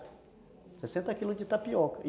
sessenta quilos de tapioca.